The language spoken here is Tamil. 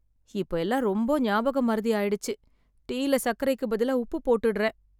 இப்ப எல்லாம் ரொம்ப ஞாபகம் மறதி ஆயிடுச்சு. டீயில சர்க்கரைக்கு பதிலா உப்பு போட்டுட்டுறேன்.